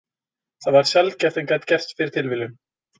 Það var sjaldgæft en gat gerst fyrir tilviljun.